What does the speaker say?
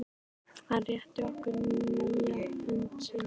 Hann rétti okkur hlýja hönd sína.